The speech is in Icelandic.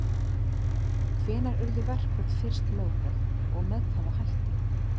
Hvenær urðu verkföll fyrst lögleg og með hvaða hætti?